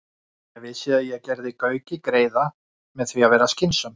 . Ég vissi að ég gerði Gauki greiða með því að vera skynsöm.